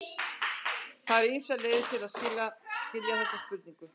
Það eru ýmsar leiðir til að skilja þessa spurningu.